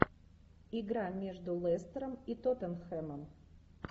игра между лестером и тоттенхэмом